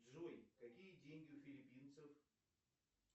джой какие деньги у филиппинцев